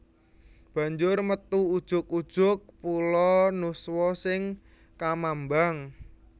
Banjur metu ujug ujug pulo nuswa sing kamambang